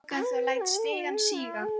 Ég opna lúgugatið og læt stigann síga.